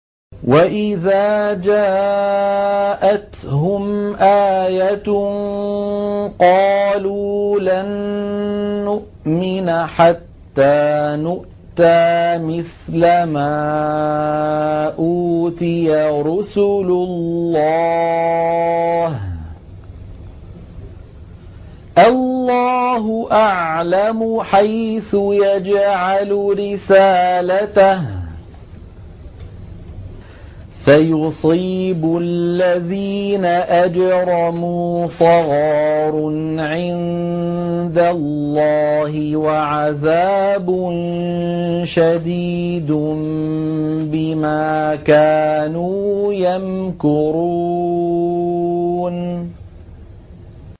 وَإِذَا جَاءَتْهُمْ آيَةٌ قَالُوا لَن نُّؤْمِنَ حَتَّىٰ نُؤْتَىٰ مِثْلَ مَا أُوتِيَ رُسُلُ اللَّهِ ۘ اللَّهُ أَعْلَمُ حَيْثُ يَجْعَلُ رِسَالَتَهُ ۗ سَيُصِيبُ الَّذِينَ أَجْرَمُوا صَغَارٌ عِندَ اللَّهِ وَعَذَابٌ شَدِيدٌ بِمَا كَانُوا يَمْكُرُونَ